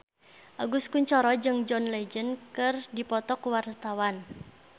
Agus Kuncoro jeung John Legend keur dipoto ku wartawan